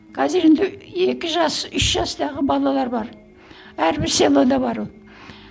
қазір енді екі жас үш жастағы балалалар бар әрбір селода бар ол